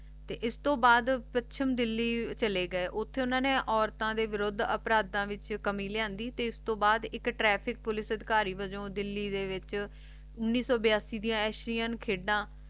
ਤੇ ਇਸ ਦੇ ਬਾਦ ਪੱਛਮ ਦਿੱਲੀ ਛੱਲੇ ਗਏ ਉਥੇ ਉਨ੍ਹਾਂ ਨੇ ਔਰਤਾਂ ਦੇ ਵਿਰੁੱਧ ਅਪਰਾਧਾਂ ਵਿਚ ਕਮੀ ਲਿਆਂਦੀ ਤੇ ਉਸ ਦੇ ਬਾਦ ਇਕ ਟ੍ਰੈਫਿਕ ਪੁਲਿਸ ਸੜਕਾਰੀ ਦੇ ਵੱਲੋ ਦਿੱਲੀ ਦੇ ਵਿਚ ਉਨੀਸ ਸੋ ਬਿਆਸੀ ਦੇ ਵਿਚ ਅਸ਼ਰੀਆਂ ਖੈਡਾਂ